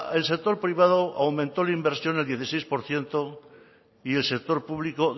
el sector privado aumentó la inversión el dieciséis por ciento y el sector público